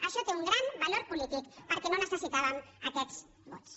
això té un gran valor polític perquè no necessitàvem aquests vots